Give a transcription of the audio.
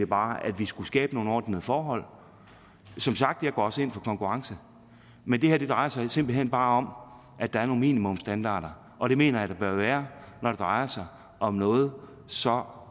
bare at vi skulle skabe nogle ordnede forhold som sagt går jeg også ind for konkurrence men det her drejer sig simpelt hen bare om at der er nogle minimumsstandarder og det mener jeg der bør være når det drejer sig om noget så